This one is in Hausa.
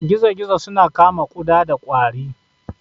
Gizo-gizo suna kama kuda da kwari.